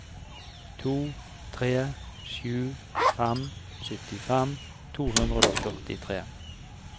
to tre sju fem syttifem to hundre og førtitre